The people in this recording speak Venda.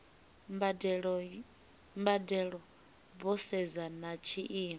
mbadelo vho sedza na tshiimo